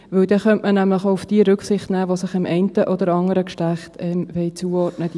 Dann könnte man nämlich auch auf jene Rücksicht nehmen, die sich dem einen oder anderen Geschlecht zuordnen wollen.